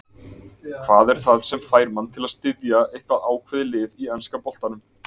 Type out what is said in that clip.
Hvað er það sem fær mann til að styðja eitthvað ákveðið lið í enska boltanum?